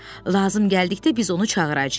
Lazım gəldikdə biz onu çağıracağıq.